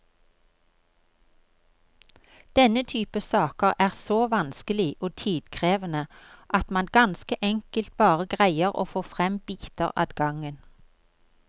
Denne type saker er så vanskelig og tidkrevende at man ganske enkelt bare greier å få frem biter ad gangen.